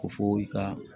Ko fo i ka